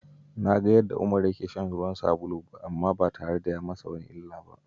Na ga yadda Umar yake shan ruwan sabulu amma ba tare da ya yi masa wata illa ba!